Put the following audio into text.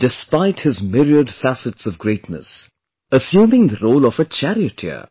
Despite his myriad facets of greatness, assuming the role of a charioteer